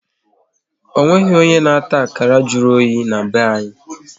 Ọ nweghị onye na-ata akara jụrụ oyi na-be anyị